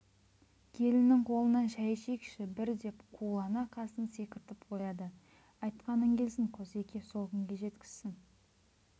келіннің қолынан шәй ішейікші бір деп қулана қасын секіртіп қояды айтқаның келсін қосеке сол күнге жеткізсің